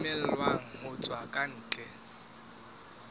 romellwang ho tswa ka ntle